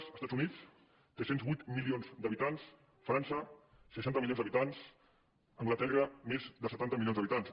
els estats units té tres cents i vuit milions d’habitants frança seixanta milions d’habitants anglaterra més de setanta milions d’habitants